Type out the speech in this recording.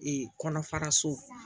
kɔnɔ faraso